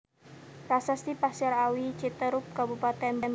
Prasasti Pasir Awi Citeureup Kabupaten Bogor